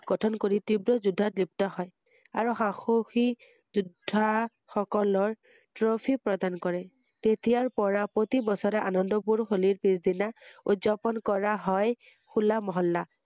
গঠন কৰি তীব্ৰ যুদ্বত লিপ্ত হয়৷আৰু হা~সাহসী যোদ্বা সকলৰ এফি প্ৰদান কৰে ৷তেতিয়াৰ পৰা প্ৰতি বছৰে আনন্দপুৰ হোলিৰ পিছদিনা উদযাপন কৰা হয় হোলা মহল্লা ৷